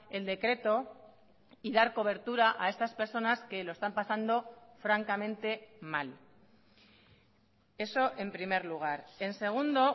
el decreto y dar cobertura a estas personas que lo están pasando francamente mal eso en primer lugar en segundo